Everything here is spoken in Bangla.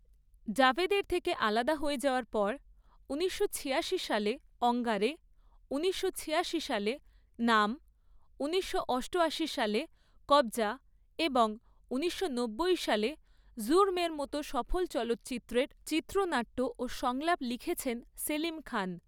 জাভেদের থেকে আলাদা হয়ে যাওয়ার পর ঊনিশশো ছিয়াশি সালে ‘অঙ্গারে’, ঊনিশশো ছিয়াশি সালে ‘নাম’, ঊনিশশো অষ্টআশি সালে ‘কব্জ়া’ এবং ঊনিশশো নব্বই সালে ‘জুর্ম’ এর মতো সফল চলচ্চিত্রের চিত্রনাট্য ও সংলাপ লিখেছেন সেলিম খান।